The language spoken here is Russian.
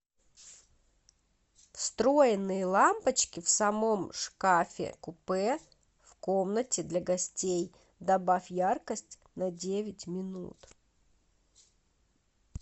встроенные лампочки в самом шкафе купе в комнате для гостей добавь яркость на девять минут